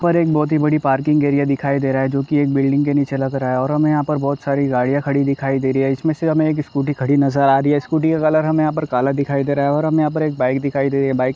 एक बहुत ही बड़ी पर्किग एरिया दिखाई दे रहा है जो की बिल्डिंग के नीचे लग रहा हैं और हमे यहाँ पर बहोत सारी गाड़ियां खड़ी दिखाई दे रही है जिसमे से हमे एक स्कूटी खड़ी नजर आ रही हैं स्कूटी का कलर हमे यहाँ पर काला दिखाई दे रहा हैं और हमे यहाँ पर एक बाइक दिखाई दे बाईक --